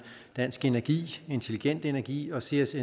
dansk energi intelligent energi og seas